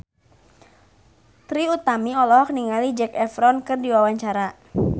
Trie Utami olohok ningali Zac Efron keur diwawancara